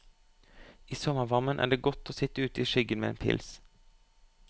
I sommervarmen er det godt å sitt ute i skyggen med en pils.